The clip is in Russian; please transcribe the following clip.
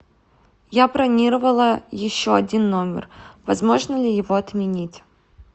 я бронировала еще один номер возможно ли его отменить